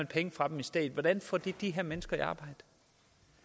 penge fra dem hvordan får det de her mennesker